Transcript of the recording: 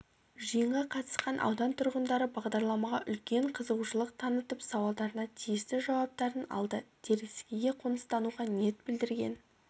жиынға қатысқан аудан тұрғындары бағдарламаға үлкен қызығушылық танытып сауалдарына тиісті жауаптарын алды теріскейге қоныстануға ниет білдірген